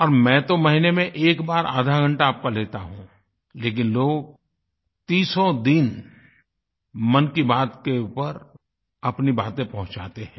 और मैं तो महीने में एक बार आधा घंटा आपका लेता हूँ लेकिन लोग तीसों दिन मन की बात के ऊपर अपनी बातें पहुँचाते हैं